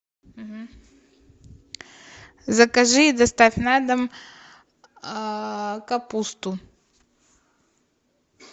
закажи и доставь на дом капусту